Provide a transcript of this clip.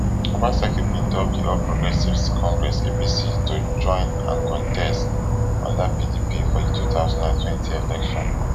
obaseki bin dump di all progressives congress (apc) to join and contest under pdp for di 2020 election.